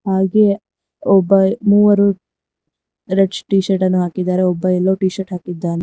ಹಾಗೆ ಒಬ್ಬ ಮೂವರು ರೆಡ್ ಟಿ-ಶರ್ಟ್ ನ್ನ ಹಾಕಿದ್ದಾರೆ ಒಬ್ಬ ಯಲ್ಲೋ ಟಿ-ಶರ್ಟ್ ಹಾಕಿದ್ದಾನೆ.